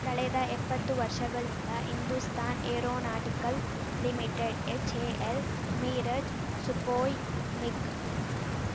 ಕಳೆದ ಎಪ್ಪತ್ತು ವರ್ಷಗಳಿಂದ Hindustan aeronautical limited HAL Mirage Sukhoi MiG